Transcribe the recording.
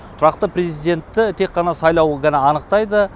тұрақты президентті тек қана сайлау ғана анықтайды